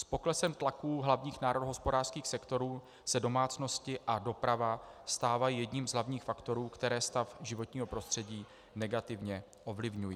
S poklesem tlaku hlavních národohospodářských sektorů se domácnosti a doprava stávají jedním z hlavních faktorů, které stav životního prostředí negativně ovlivňují.